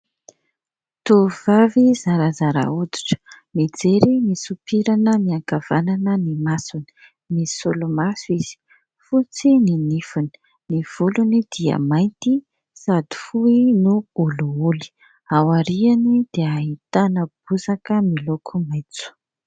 Tovovavy zarazara hoditra mijery misopirana miankavanana ny masony, misolomaso izy, fotsy ny nifiny, ny volony dia mainty sady fohy no olioly. Aoriany dia ahitana bozaka miloko maitso.